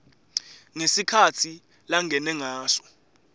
ngesikhatsi langene ngaso